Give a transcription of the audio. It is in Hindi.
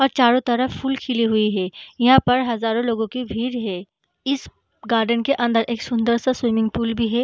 और चारो तरफ फूल खिलें हैं। यहाँ पर हजारो लोगो की भीड़ है इस गार्डन क अंदर एक सुन्दर सा स्विमिंग पूल भी है।